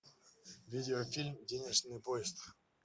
видеофильм денежный поезд